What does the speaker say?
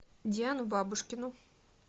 диану бабушкину